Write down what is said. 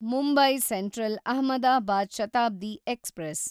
Mumbai central Ahmedabad Shatabdi express